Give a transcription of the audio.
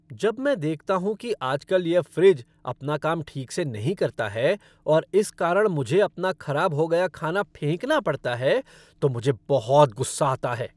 जब मैं देखता हूँ कि आज कल यह फ़्रिज अपना काम ठीक से नहीं करता है और इस कारण मुझे अपना खराब हो गया खाना फेंकना पड़ता है तो मुझे बहुत गुस्सा आता है।